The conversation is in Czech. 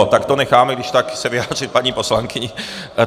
Jo, tak to necháme když tak se vyjádřit paní poslankyni.